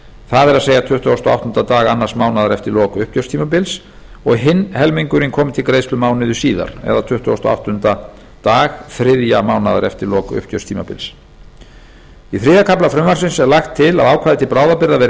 það er tuttugasti og áttunda dag annars mánaðar eftir lok uppgjörstímabilsins og hinn helmingurinn komi til greiðslu mánuði síðar eða tuttugasta og áttunda dag þriðja mánaðar eftir lok uppgjörstímabils í þriðja kafla frumvarpsins er lagt til að ákvæði til bráðabirgða verði